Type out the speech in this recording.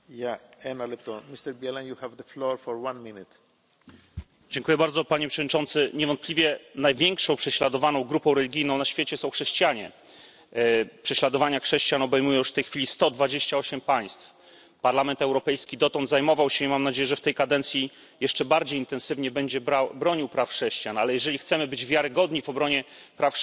Panie Przewodniczący! Niewątpliwie największą prześladowaną grupą religijną na świecie są chrześcijanie. Prześladowania chrześcijan obejmują już w tej chwili 128 państw. Parlament Europejski dotąd zajmował się i mam nadzieję, że w tej kadencji jeszcze bardziej intensywnie będzie się zajmował obroną praw chrześcijan, ale jeżeli chcemy być wiarygodni w obronie praw chrześcijan, musimy zwracać uwagę również na prześladowania innych grup religijnych.